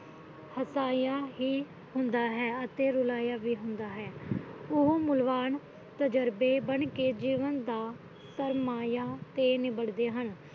ਹਸਾਇਆਂ ਵੀ ਹੁੰਦਾ ਹੈ ਅਤੇ ਰੁਲਾਇਆ ਵੀ ਹੁੰਦਾ ਹੈ ਉਹ ਮੁੱਲ ਵਾਨ ਤਜਰਬੇ ਬਣ ਕਿ ਜੀਵਨ ਦਾ ਫਰਮਾਇਆ ਨਿਬੜਦੇ ਹਨ